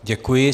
Děkuji.